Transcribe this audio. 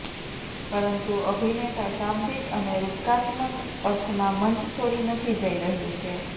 પરંતુ અભિનેતા શાબ્દિક અને રૂપકાત્મક અર્થમાં મંચ છોડી નથી જઈ રહ્યું છે